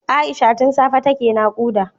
Aisha tun safe take nakuda